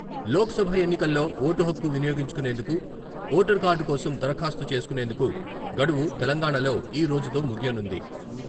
లోక్సభ ఎన్నికల్లో ఓటు హక్కు వినియోగించుకునేందుకు ఓటర్ కార్డు కోసం దరఖాస్తు చేసుకునేందుకు గడువు తెలంగాణాలో ఈ రోజుతో ముగియనుంది.